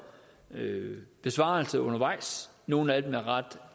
besvaret undervejs nogle af dem er ret